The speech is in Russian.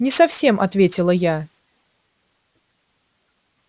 не совсем ответила я